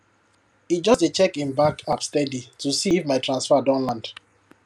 e just dey check him bank app steady to see if my transfer don land